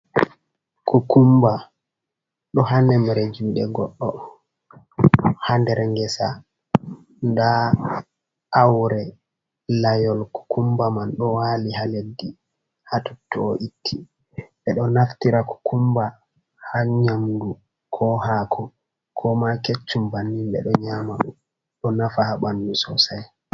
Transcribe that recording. Kokumba ɗo ha nemre juɗe goɗɗo ha der ngesa, nda aure layol kokumba man ɓo wali ha leddi ha totto o itti, ɓe ɗo naftira kokumba ha nyamdu, ko haku, ko ma keccum bannin ɓe ɗo nyama ɗo nafa ha bandu sosai.